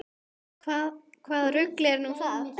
Hvaða rugl er nú það?